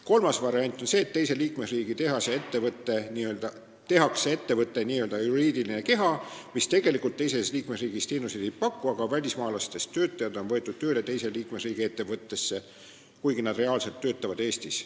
Kolmas variant on see, et tehakse liikmesriigi tehase või muu ettevõtte n-ö juriidiline keha, mis tegelikult teises liikmesriigis teenuseid ei paku, aga välismaalastest töötajad on võetud tööle teise liikmesriigi ettevõttesse, kuigi nad reaalselt töötavad Eestis.